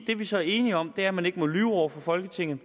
det vi så er enige om er at man ikke må lyve over for folketinget